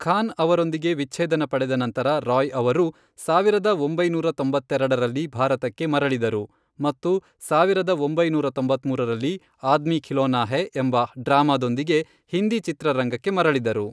ಖಾನ್ ಅವರೊಂದಿಗೆ ವಿಚ್ಛೇದನ ಪಡೆದ ನಂತರ ರಾಯ್ ಅವರು ಸಾವಿರದ ಒಂಬೈನೂರ ತೊಂಬತ್ತೆರೆಡರಲ್ಲಿ ಭಾರತಕ್ಕೆ ಮರಳಿದರು ಮತ್ತು ಸಾವಿರದ ಒಂಬೈನೂರ ತೊಂಬತ್ಮೂರರಲ್ಲಿ, ಆದ್ಮಿ ಖಿಲೋನಾ ಹೈ, ಎಂಬ ಡ್ರಾಮಾದೊಂದಿಗೆ ಹಿಂದಿ ಚಿತ್ರರಂಗಕ್ಕೆ ಮರಳಿದರು.